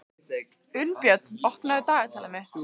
Unnbjörn, opnaðu dagatalið mitt.